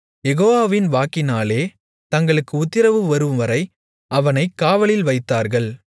யெகோவாவின் வாக்கினாலே தங்களுக்கு உத்திரவு வரும்வரை அவனைக் காவலில்வைத்தார்கள்